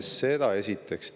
Seda esiteks.